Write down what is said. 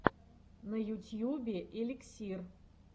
на ютьюбе эликсир